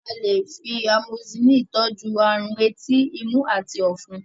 a lẹ fí amoxicillin tọjú àrùn etí, imú ati òfún.